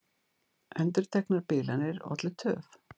Endurteknar bilanir ollu töf